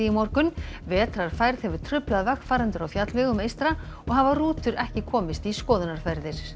í morgun vetrarfærð hefur truflað vegfarendur á fjallvegum eystra og hafa rútur ekki komist í skoðunarferðir